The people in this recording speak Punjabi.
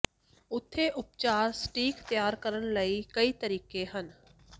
ਉੱਥੇ ਉਪਚਾਰ ਸਟੀਕ ਤਿਆਰ ਕਰਨ ਲਈ ਕਈ ਤਰੀਕੇ ਹਨ